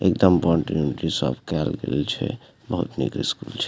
एकदम बाउंड्री-उनड्री सब कायल गेल छै बहुत निक स्कूल छै।